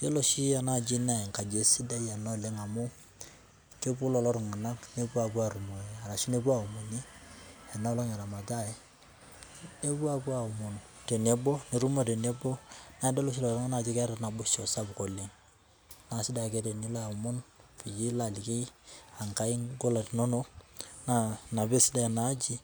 eyiolo oshi enaaji naa enkaji sidai oleng amu kepuo kulo tung'ana nepuo aomon enkolog ee aramadhan nepuo aomon tenebo nepuo atumo naa edol oshi lelo tung'ana Ajo keeta naboisho sapuk oleng naa sidai ake tenilo aomon pee elo aliki enkai nkolati enonok naa pee sidai enaji